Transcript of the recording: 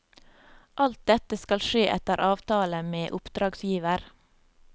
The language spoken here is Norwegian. Alt dette skal skje etter avtale med oppdragsgiver.